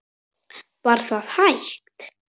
Var það hægt?